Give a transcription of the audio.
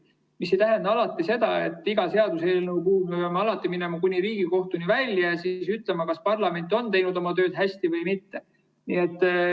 See ei tähenda alati seda, et iga seaduseelnõu puhul me peaksime alati minema kuni Riigikohtuni välja ja siis ütlema, kas parlament on teinud oma tööd hästi või mitte.